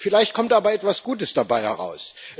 Vielleicht kommt aber etwas Gutes dabei heraus.